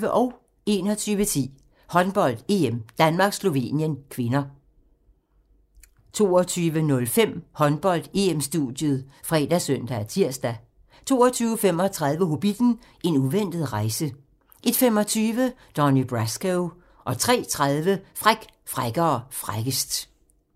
21:10: Håndbold: EM - Danmark-Slovenien (k) 22:05: Håndbold: EM-studiet ( fre, søn, tir) 22:35: Hobbitten: En uventet rejse 01:25: Donnie Brasco 03:30: Fræk, frækkere, frækkest